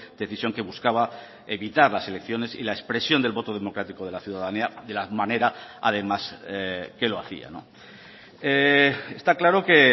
decisión que buscaba evitar las elecciones y la expresión del voto democrático de la ciudadanía de la manera además que lo hacía está claro que